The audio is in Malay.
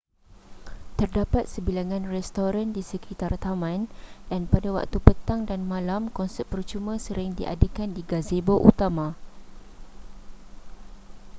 terdapat sebilangan restoran di sekitar taman dan pada waktu petang dan malam konsert percuma sering diadakan di gazebo utama